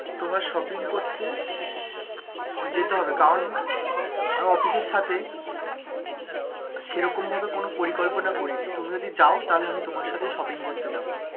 তোমায় shopping করতে যেতে হবে কারণ, আমার অফিস এর সাথে সেরকমভাবে কোনো পরিকল্পনা করিনি, তুমি যদি যাও, তাহলে আমি তোমার সাথে shopping করতে যাবো,